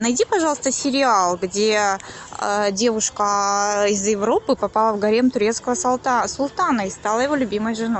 найди пожалуйста сериал где девушка из европы попала в гарем турецкого султана и стала его любимой женой